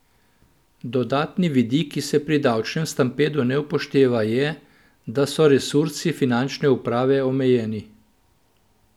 Dodatni vidik, ki se pri davčnem stampedu ne upošteva, je, da so resursi finančne uprave omejeni.